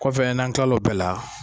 Kɔfɛ n'an kila o bɛɛ la